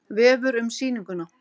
Vefur um sýninguna